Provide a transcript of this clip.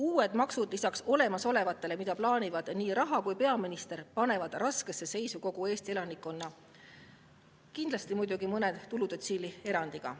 Uued maksud lisaks olemasolevatele, mida plaanivad nii rahaminister kui ka peaminister, panevad raskesse seisu kogu Eesti elanikkonna, kuigi kindlasti on siin mõni tuludetsiil erandiks.